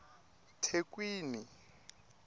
thekwini